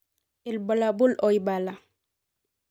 Ibulabul oibala.